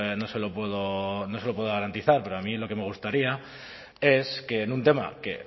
no se lo puedo garantizar pero a mí lo que me gustaría es que en un tema que